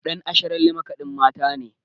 Ɗan Asharalle makaɗin Mata ne.